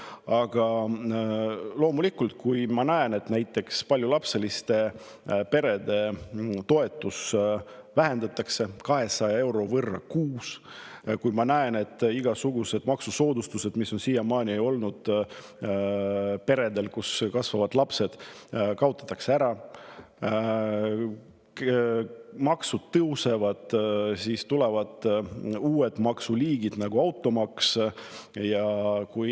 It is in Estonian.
Aga ma näen, et näiteks paljulapseliste perede toetust vähendatakse 200 euro võrra kuus, ja ma näen, et igasugused maksusoodustused, mis on siiamaani olnud peredele, kus kasvavad lapsed, kaotatakse ära, ning maksud tõusevad ja tulevad uued maksuliigid, nagu automaks.